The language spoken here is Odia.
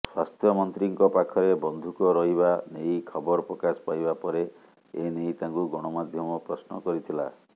ସ୍ୱାସ୍ଥ୍ୟମନ୍ତ୍ରୀଙ୍କ ପାଖରେ ବନ୍ଧୁକ ରହିବା ନେଇ ଖବର ପ୍ରକାଶ ପାଇବା ପରେ ଏନେଇ ତାଙ୍କୁ ଗଣମାଧ୍ୟମ ପ୍ରଶ୍ନ କରିଥିଲା